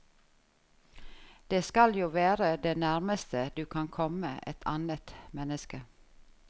Det skal jo være det nærmeste du kan komme et annet menneske.